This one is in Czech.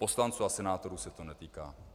Poslanců a senátorů se to netýká.